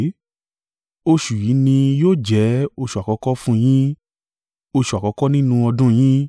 “Oṣù yìí ni yóò jẹ́ oṣù àkọ́kọ́ fún yín, oṣù àkọ́kọ́ nínú ọdún yín.